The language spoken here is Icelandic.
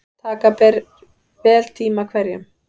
Taka ber vel tíma hverjum.